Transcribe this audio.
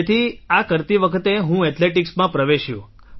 તેથી આ કરતી વખતે હું Athleticsમાં પ્રવેશ્યો